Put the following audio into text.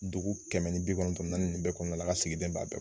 Dugu kɛmɛ ni bi kɔnɔntɔn ni naani nin bɛɛ kɔnɔna la a ka sigida in b'a bɛɛ